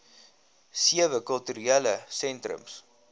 sewe kulturele sentrums